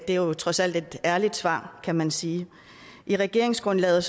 det er jo trods alt et ærligt svar kan man sige i regeringsgrundlaget